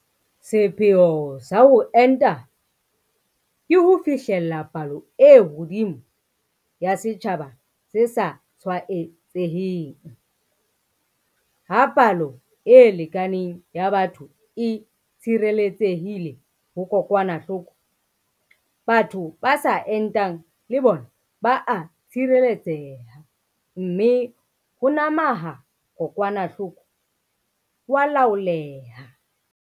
Sepheo sa ho enta ke ho fihlella palo e hodimo ya setjhaba se sa tshwaetseheng - ha palo e lekaneng ya batho e tshireletsehile ho kokwanahloko, batho ba sa entang le bona ba a tshireletseha, mme ho nama ha kokwanahloko ho a laoleha.